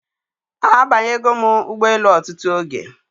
Abanya go m Ugbo elu otutu oge